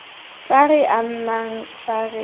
tla re amang fa re